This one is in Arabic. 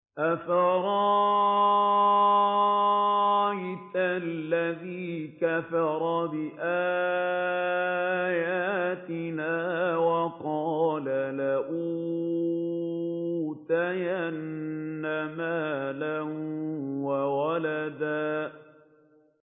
أَفَرَأَيْتَ الَّذِي كَفَرَ بِآيَاتِنَا وَقَالَ لَأُوتَيَنَّ مَالًا وَوَلَدًا